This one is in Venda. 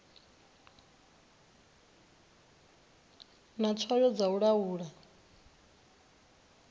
na tswayo dza u laula